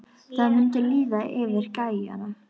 Það mundi líða yfir gæjann!